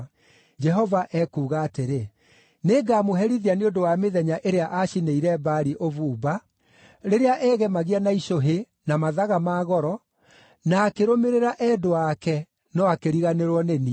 Jehova ekuuga atĩrĩ, “Nĩngamũherithia nĩ ũndũ wa mĩthenya ĩrĩa acinĩire Baali ũbumba; rĩrĩa eegemagia na icũhĩ, na mathaga ma goro, na akĩrũmĩrĩra endwa ake, no akĩriganĩrwo nĩ niĩ.